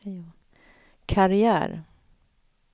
karriär